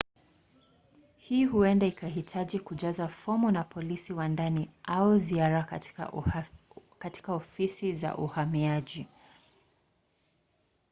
hii huenda ikahitaji kujaza fomu na polisi wa ndani au ziara katika ofisi za uhamiaji